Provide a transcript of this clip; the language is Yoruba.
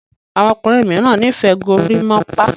àwọn ọkùnrin míràn n'ifẹ gorimopa